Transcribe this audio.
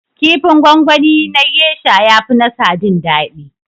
Kifin gwangwani na gesha ya fi na sadin daɗi